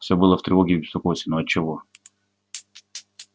всё было в тревоге и в беспокойстве но отчего